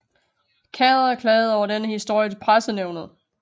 Khader klagede over denne historie til Pressenævnet